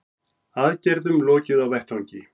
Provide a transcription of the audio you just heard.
Aðgerðum lokið á vettvangi